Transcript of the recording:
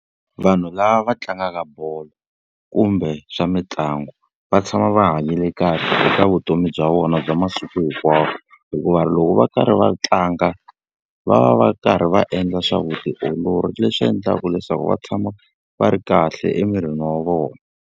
Vanhu lava va tlangaka bolo kumbe swa mitlangu, va tshama va hanyile kahle eka vutomi bya vona bya masiku hinkwawo. Hikuva loko va karhi va tlanga va va va karhi va endla swa vutiolori leswi endlaka leswaku va tshama va ri kahle emirini wa vona.